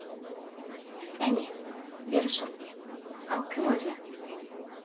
кәне бері шық ал кім өзі